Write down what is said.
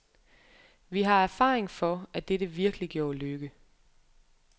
Vi har erfaring for, at dette virkelig gjorde lykke.